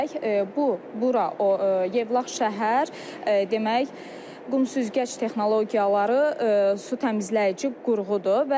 Bu, bura Yevlax şəhər demək, qum süzgəc texnologiyaları su təmizləyici qurğudur.